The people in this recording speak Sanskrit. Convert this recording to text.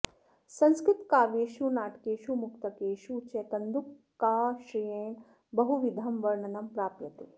संस्क्तृतकाव्येषु नाटकेषु मुक्तकेषु च कन्दुकाश्रयेण बहुविधं वर्णनं प्राप्यते